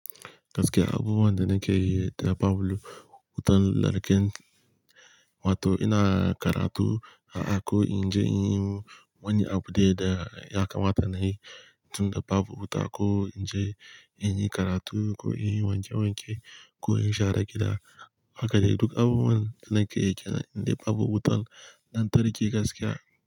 Gaskiya, abubuwan da nake yi da babu wutan lantarki, wato ina karatu, a'a ko inje in yi wani abu dai da ya kamata nayi, tun da babu wuta ko inje in yi karatu ko in yi wanke wanke ko in share gida haka dai duk abubuwan da nake yi kenan indai babu wutan lantarki gaskiya.